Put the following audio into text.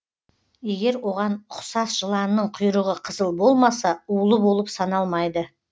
егер оған ұқсас жыланның құйрығы қызыл болмаса улы болып саналмайды